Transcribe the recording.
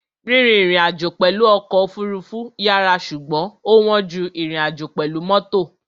Rírìn ìrìnàjò pẹ̀lú ọkọ̀ òfurufú yàrá ṣùgbọ́n ó wọ́n ju ìrìnàjò pẹ̀lú mọ́tò.